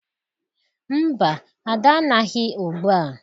Mba, Ada anaghị ugbua.